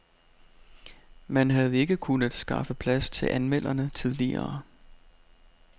Man havde ikke kunnet skaffe plads til anmelderne tidligere.